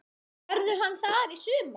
Verður hann þar í sumar?